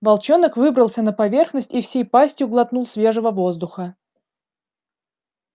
волчонок выбрался на поверхность и всей пастью глотнул свежего воздуха